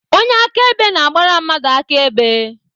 Onye akaebe na-agbara mmadụ akaebe.